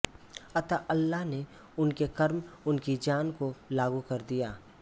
अतः अल्लाह ने उनके कर्म उनकी जान को लागू कर दिए